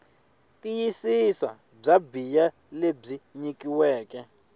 tiyisisa bya bee lebyi nyikiweke